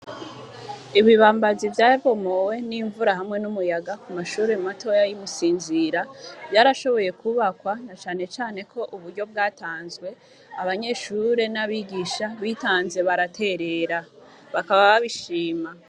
Ibibambazi vyabomoye n’imvura hamwe ń’umuyaga ku mashire matoya y’imusinzira vyarashoboye kwubakwa na cane cane kouburyo bwatanzwe abanyeshure ńabigisha bitanze baratiner bakaba babishima.